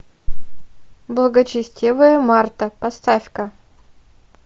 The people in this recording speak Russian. благочестивая марта поставь ка